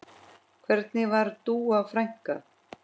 Hvernig var Dúa frænka?